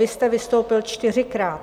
Vy jste vystoupil čtyřikrát.